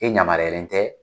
E ɲamariyalen tɛ